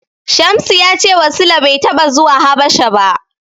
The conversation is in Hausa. Shamsu ya cewa Sule bai taɓa zuwa Habasha ba.